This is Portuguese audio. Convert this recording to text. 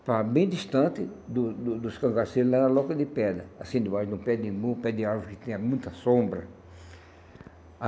Estava bem distante do do dos cangaceiros, lá na loca de pedra, assim de baixo, num pé de num pé de árvore que tinha muita sombra.